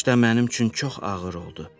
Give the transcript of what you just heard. Qışda mənim üçün çox ağır oldu.